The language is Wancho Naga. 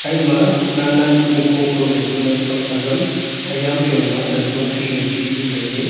ema nan nan ku nipong sohley ku nawsam azam aya ham zoima tantong khi wai khi ku tailey.